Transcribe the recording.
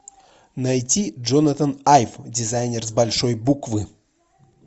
найти джонатан айв дизайнер с большой буквы